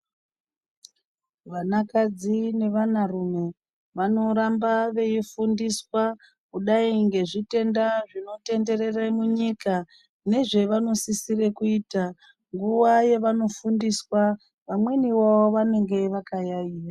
Vanakadzi nevana rume vanoramba veifundiswa kudai ngezvitenda zvinotenderera munyika nezvevanosisire kuita nguva yavanofundiswa vamwenivo vanenge vakayaiya.